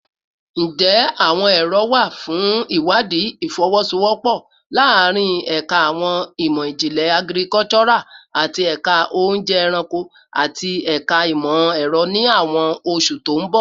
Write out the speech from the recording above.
Njẹ awọn ero wa fun iwadii ifowosowopo laarin Ẹka Awọn imọ-jinlẹ Agricultural ati Ẹka Ounje Eranko ati Ẹka Imọ-ẹrọ ni awọn oṣu to n bọ?